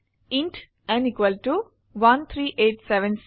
int n 13876